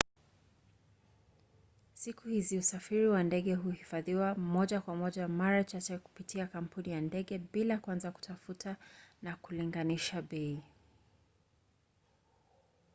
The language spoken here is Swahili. siku hizi usafiri wa ndege huhifadhiwa moja kwa moja mara chache kupitia kampuni ya ndege bila kwanza kutafuta na kulinganisha bei